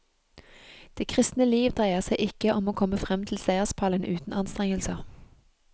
Det kristne liv dreier seg ikke om å komme frem til seierspallen uten anstrengelser.